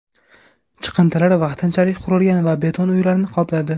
Chiqindilar vaqtinchalik qurilgan va beton uylarni qopladi.